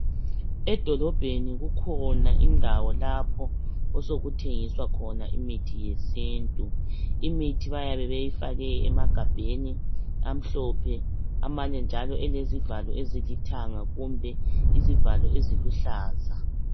Edolobheni kukhona indawo lapho okusekuthengiswa khona imithi yesintu. Imithi baye beyifake emagabheni amhlophe, amanye njalo elezivalo ezilithanga kumbe izivalo eziluhlaza.